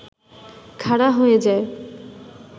খাড়া হয়ে যায়